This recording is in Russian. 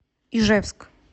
ижевск